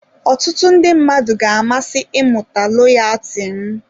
Ọtụtụ ndị mmadụ ga-amasị ịmụta loyaati m.